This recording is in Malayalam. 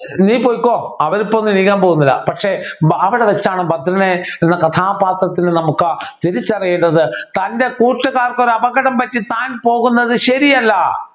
നീ പോയിക്കോ അവരിപ്പോഒന്നും എണീക്കാൻ പോകുന്നില്ല പക്ഷേ അവിടെവച്ചാണ് ഭദ്രനെന്ന കഥാപാത്രത്തെ നമുക്ക് തിരിച്ചറിയുന്നത് തൻ്റെ കൂട്ടുകാർക്ക് ഒരു അപകടം പറ്റി താൻ പോകുന്നത് ശരിയല്ല